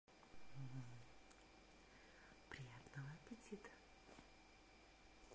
приятного аппетита